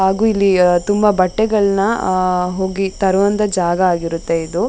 ಹಾಗು ಇಲ್ಲಿ ತುಂಬಾ ಬಟ್ಟೆಗಳ್ನ ಅಹ್ ಹೋಗಿ ತರೋಅಂತ ಜಾಗ ಆಗಿರುತ್ತೆ ಇದು.